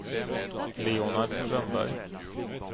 Leonard Strömberg